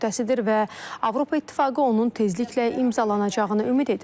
Və Avropa İttifaqı onun tezliklə imzalanacağını ümid edir.